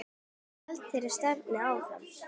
Og héldum þeirri stefnu áfram.